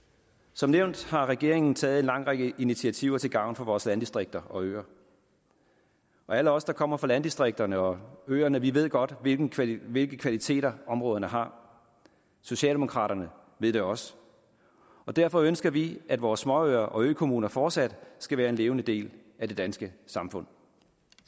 som nævnt har regeringen taget en lang række initiativer til gavn for vores landdistrikter og øer og alle os der kommer fra landdistrikterne og øerne ved godt hvilke kvaliteter hvilke kvaliteter områderne har socialdemokraterne ved det også og derfor ønsker vi at vores småøer og økommuner fortsat skal være en levende del af det danske samfund